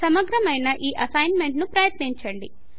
సమగ్రమైన ఈ అసైన్మెంట్ ను ప్రయత్నించండి